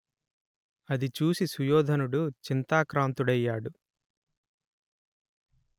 అది చూసి సుయోధనుడు చింతాక్రాంతుడైయ్యాడు